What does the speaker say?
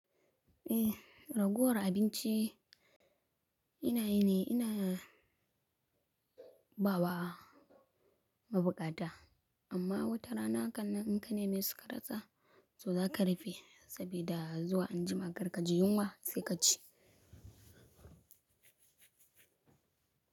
Eh raguwar abinci ina yi ne, ina bawa mabukata amma wata rana hakannan in ka nemi su karasa, to za ka rufe saboda zuwa anjima karka ji yunwa sai ka ci.